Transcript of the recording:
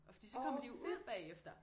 Og fordi så kommer de jo ud bagefter